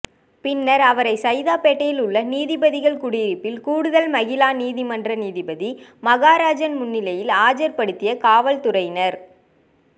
பின்னர் அவரை சைதாப்பேட்டையில் உள்ள நீதிபதிகள் குடியிருப்பில் கூடுதல் மகிளா நீதிமன்ற நீதிபதி மகாராஜன் முன்னிலையில் ஆஜர்படுத்திய காவல்துறையினர்